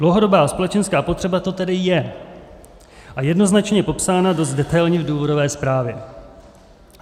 Dlouhodobá společenská potřeba to tedy je a jednoznačně je popsána dost detailně v důvodové zprávě.